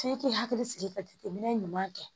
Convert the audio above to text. F'i k'i hakili sigi ka jateminɛ ɲuman kɛ